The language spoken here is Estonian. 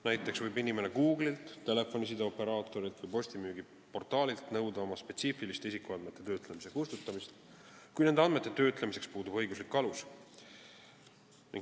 Näiteks võib inimene Google'ilt, telefonisideoperaatorilt või postimüügiportaalilt nõuda oma spetsiifiliste isikuandmete kustutamist, kui nende andmete töötlemiseks puudub õiguslik alus.